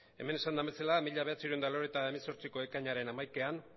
hemen esan den bezala mila bederatziehun eta laurogeita hemezortzi ekainaren hamaikan